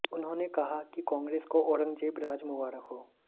उन्होंने कहा कि कांग्रेस को औरंगजेब राज मुबारक हो